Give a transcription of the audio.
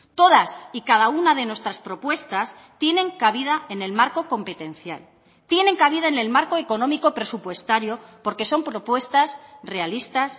todas y cada una de nuestras propuestas tienen cabida en el marco competencial tienen cabida en el marco económico presupuestario porque son propuestas realistas